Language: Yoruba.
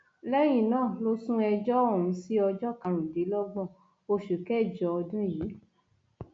lẹyìn náà ló sún ẹjọ ọhún sí ọjọ karùndínlọgbọn oṣù kẹjọ ọdún yìí